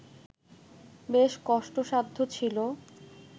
বেশ কষ্টসাধ্য ছিল